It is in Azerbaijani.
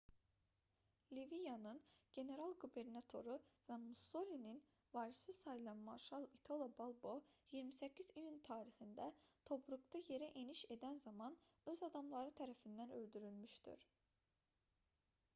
liviyanın general-qubernatoru və mussolinin varisi sayılan marşal i̇talo balbo 28 iyun tarixində tobruqda yerə eniş edən zaman öz adamları tərəfindən öldürülmüşdür